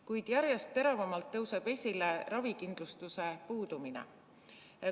Kuid järjest teravamalt tõuseb esile ravikindlustuse puudumine.